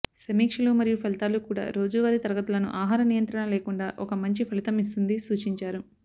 సమీక్షలు మరియు ఫలితాలు కూడా రోజువారీ తరగతులను ఆహార నియంత్రణ లేకుండా ఒక మంచి ఫలితం ఇస్తుంది సూచించారు